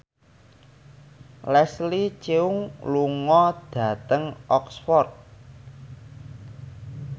Leslie Cheung lunga dhateng Oxford